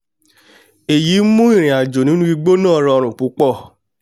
ẹ̀yí mú ìrìnàjò nínú igbó náà rọrùn púpọ̀